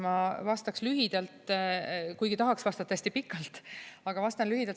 Ma vastaks lühidalt, kuigi tahaks vastata hästi pikalt, aga vastan lühidalt.